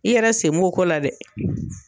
I yɛrɛ sen b'o ko la dɛ